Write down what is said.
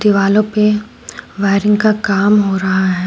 दीवालो पे वायरिंग का काम हो रहा है।